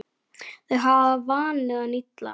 Þau hafa vanið hann illa.